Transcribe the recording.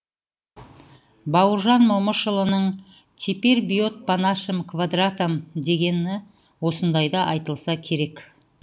бауыржан момышұлының теперь бьет по нашим квадратам дегені осындайда айтылса керек